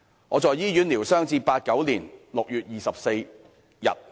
我在醫院療傷至1989年6月24日。